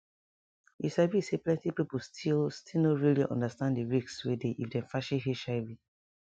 you sabi say plenti people still still no really understand di risk wey dey if dem fashi hiv